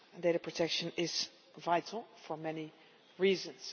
Data protection is vital for many reasons.